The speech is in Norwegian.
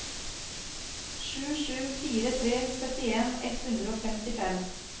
sju sju fire tre syttien ett hundre og femtifem